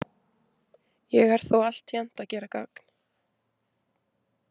Ég er þó altént að gera gagn.